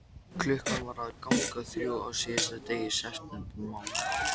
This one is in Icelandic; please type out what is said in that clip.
Klukkan var að ganga þrjú á síðasta degi septembermánaðar.